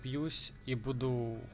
бьюсь и будуу